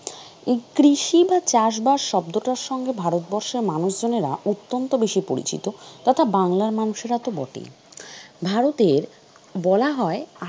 এই কৃষি বা চাষ বাস শব্দটার সঙ্গে ভারতবর্ষে মানুষজনেরা অত্যন্ত বেশি পরিচিত, তথা বাংলার মানুষেরা তো বটেই, ভারতে বলা হয়